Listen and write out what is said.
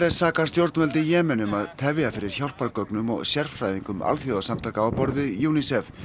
sakar stjórnvöld í Jemen um að tefja fyrir hjálpargögnum og sérfræðingum alþjóðasamtaka á borð við UNICEF